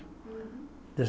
Uhum.